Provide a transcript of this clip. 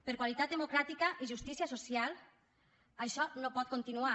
per qualitat democràtica i justícia social això no pot continuar